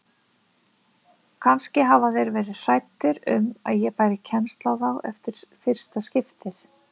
Kannski hafi þeir verið hræddir um að ég bæri kennsl á þá eftir fyrsta skiptið.